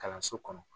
Kalanso kɔnɔ